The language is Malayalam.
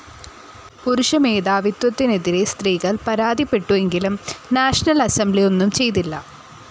പുരുഷമേധാവിത്വത്തിനെതിരെ സ്ത്രീകൾ പരാതിപ്പെട്ടുവെങ്കിലും നാഷണൽ അസംബ്ലി ഒന്നും ചെയ്തില്ല.